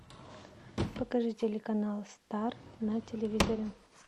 покажи телеканал стар на телевизоре